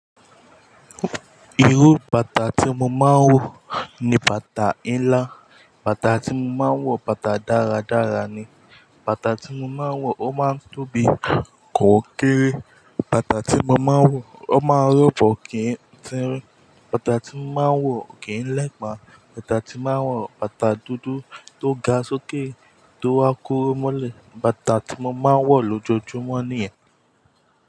Irú bàtà tí mo máa ń wọ ni bàtà ńlá. Bàtà tí mo máa ń wọ, bàtà dáradára ni. Bàtà tí mo máa ń wọ, ó máa ń tóbi kò kéré. Bàtà tí mo máa ń wọ, ó máa ń rọ̀bọ̀ kì ń tirín. Bàtà tí mo máa ń wọ kì ń lẹ́pa. Bàtà tí mo máa ń wọ, bàtà dúdú tó ga sókè, tó wá kúrú mọ́lẹ̀. Bàtà tí mo máa ń wọ lójoójúmọ́ nìyẹn.